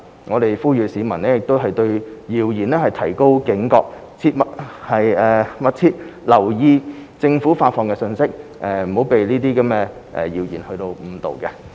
我們呼籲市民對謠言提高警覺，密切留意政府發放的資訊，切勿被謠言誤導。